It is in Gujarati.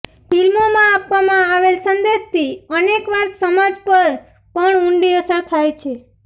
ફિલ્મોમાં આપવામાં આવેલ સંદેશથી અનેકવાર સમાજ પર પણ ઊંડી અસર થાય છે